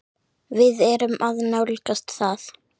Við erum að nálgast það.